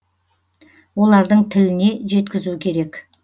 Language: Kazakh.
олардың тіліне жеткізу керек